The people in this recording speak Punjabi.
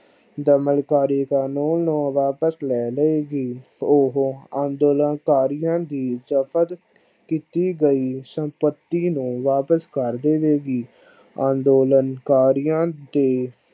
ਦਮਨ ਕਰਿ ਕਾਨੂੰਨ ਨੂੰ ਵਾਪਸ ਲੈ ਲਉ ਗੀ ਉਹ ਅੰਦੋਲਨ ਕਾਰੀਆ ਦੀ ਕਿੱਤੀ ਦਿਤੀ ਗਈ ਸੰਪਤੀ ਨੂੰ ਵਾਪਸ ਕਰ ਦਵੇਗੀ ਅੰਦੋਲਨ ਕਾਰੀਆ ਦੀ